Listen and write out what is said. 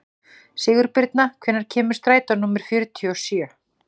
Sigurbirna, hvenær kemur strætó númer fjörutíu og sjö?